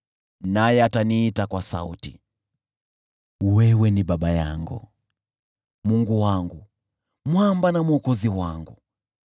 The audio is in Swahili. Naye ataniita kwa sauti, ‘Wewe ni Baba yangu, Mungu wangu, Mwamba na Mwokozi wangu.’